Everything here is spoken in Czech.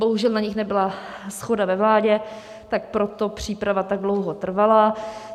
Bohužel na nich nebyla shoda ve vládě, tak proto příprava tak dlouho trvala.